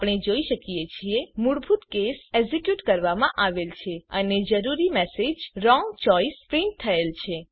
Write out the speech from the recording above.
આપણે જોઈ શકીએ છીએ મૂળભૂત કેસ એક્ઝીક્યુટ કરવામાં આવેલ છે અને જરૂરી મેસેજ વ્રોંગ ચોઇસ પ્રિન્ટ થયેલ છે